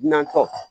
Nantɔ